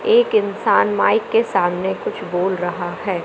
एक इंसान माइक के सामने कुछ बोल रहा है।